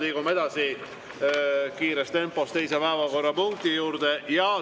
Liigume kiires tempos teise päevakorrapunkti juurde.